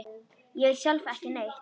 Ég veit sjálf ekki neitt.